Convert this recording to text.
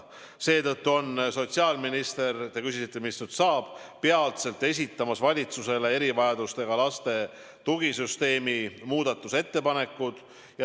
Seetõttu on sotsiaalminister – te küsisite, mis nüüd saab – peatselt esitamas valitsusele erivajadustega laste tugisüsteemi muutmise ettepanekud.